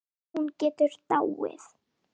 En hún getur dáið